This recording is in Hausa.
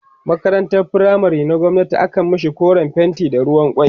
makarantan firamare na gwamnati akan mashi koren fenti da ruwan kwai